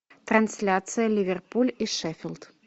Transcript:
трансляция ливерпуль и шеффилд